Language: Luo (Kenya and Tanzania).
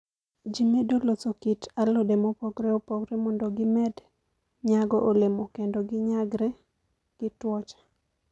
Ji medo loso kit alode mopogore opogore mondo gimed nyago olemo kendo ginyagre gi tuoche.